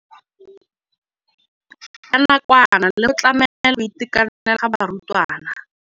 Ya nakwana le go tlamela go itekanela ga barutwana.